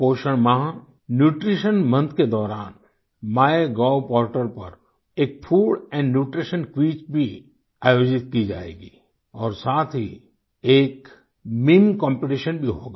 पोषण माह nutrition month के दौरान माइगोव पोर्टल पर एक फूड एंड न्यूट्रीशन क्विज भी आयोजित की जाएगी और साथ ही एक मीम कॉम्पिटिशन भी होगा